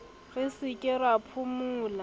re se ke ra phomola